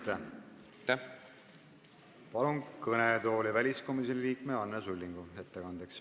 Palun ettekandeks kõnetooli väliskomisjoni liikme Anne Sullingu!